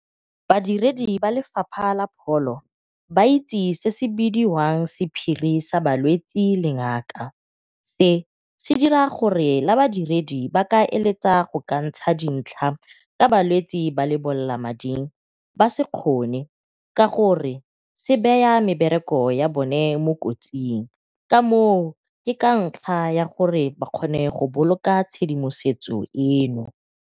Badiredi ba lefapha la pholo ba itse se se bidiwang sephiri sa balwetsi le ngaka. Se se dira gore la badiredi ba ka eletsa go ka ntsha dintlha ka balwetsi ba lebolelamading ba se kgone ka gore se beya mebereko ya bone mo kotsing, ka moo ke kantlha ya gore ba kgone go boloka tshedimosetso eno.